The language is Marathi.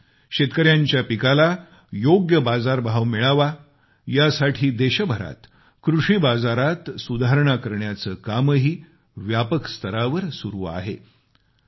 त्याशिवाय शेतकऱ्यांच्या पिकाला योग्य बाजारभाव मिळावा यासाठी देशभरात कृषी बाजाीरात सुधारणा करण्याचे कामही व्यापक स्तरावर चालू आहे